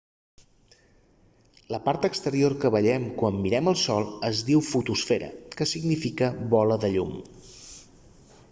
la part exterior que veiem quan mirem el sol es diu fotosfera que significa bola de llum